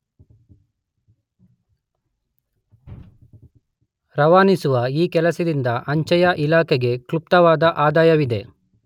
ರವಾನಿಸುವ ಈ ಕೆಲಸದಿಂದ ಅಂಚೆಯ ಇಲಾಖೆಗೆ ಕ್ಲುಪ್ತವಾದ ಆದಾಯವಿದೆ.